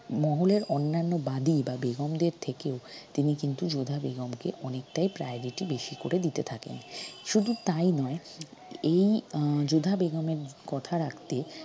মহলের অন্যান্য বাদি বা বেগমদের থেকেও তিনি কিন্তু যোধা বেগমকে অনেকটাই priority বেশি করে দিতে থাকেন শুধু তাই নয় এই আহ যোধা বেগমের কথা রাখতে